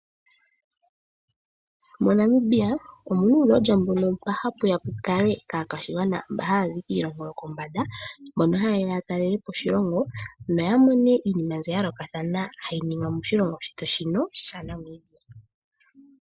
MoNamibia omuna uulodja mboka hapuya pukalwe ka kwaashigwana mboka haya zi kiilongo yokondje mboka haa yeya ya talelepo oshiilongo ,noya mone iinima mbyoka ya yoolokathana hayi ningwa moshilongo shetu shaNamibia.